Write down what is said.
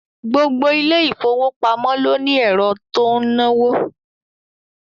Gbogbo ilé ìfowópamọ́ ló ní ẹ̀rọ tó ń náwó